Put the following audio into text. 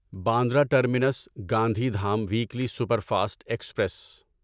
Bandra terminus Gandhi Dham weekly super fast express